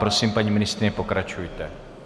Prosím, paní ministryně, pokračujte.